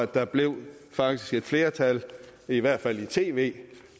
der blev faktisk et flertal i hvert fald i tv